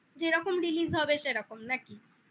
যেরকম release হবে সেরকম নাকি?